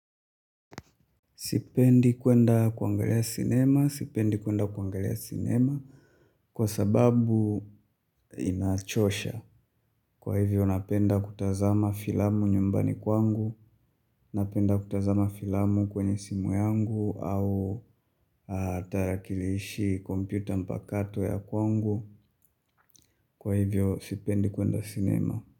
Sipendi kwenda kuangalia cinema. Sipendi kwenda kuangalia cinema. Kwa sababu inachosha. Kwa hivyo napenda kutazama filamu nyumbani kwangu. Napenda kutazama filamu kwenye simu yangu au tarakilishi kompyuta mpakato ya kwangu. Kwa hivyo sipendi kwenda cinema.